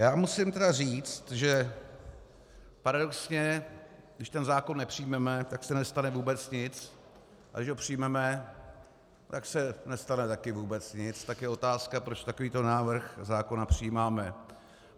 Já musím tedy říci, že paradoxně když ten zákon nepřijmeme, tak se nestane vůbec nic, a když ho přijmeme, tak se nestane také vůbec nic, tak je otázka, proč takovýto návrh zákona přijímáme.